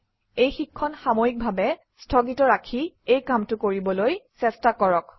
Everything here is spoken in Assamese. এই শিক্ষণ সাময়িকভাৱে স্থগিত ৰাখি এই কামটো কৰিবলৈ চেষ্টা কৰক